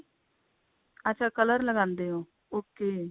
ਅੱਛਾ color ਲਗਾਂਦੇ ਹੋ okay